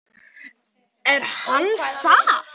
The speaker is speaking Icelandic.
Er hann það?